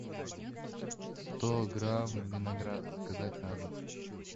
сто грамм винограда заказать на дом